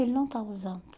Ele não está usando.